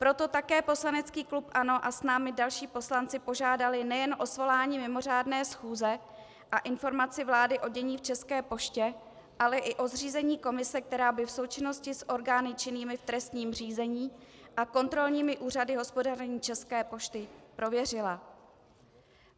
Proto také poslanecký klub ANO a s námi další poslanci požádali nejen o svolání mimořádné schůze a informaci vlády o dění v České poště, ale i o zřízení komise, která by v součinnosti s orgány činnými v trestním řízení a kontrolními úřady hospodaření České pošty prověřila.